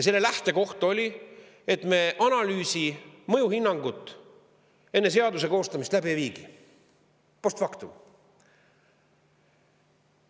Selle lähtekoht oli, et me analüüsi, mõjuhinnangut enne seaduse koostamist läbi ei viigi, post factum.